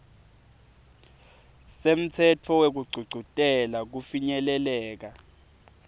semtsetfo wekugcugcutela kufinyeleleka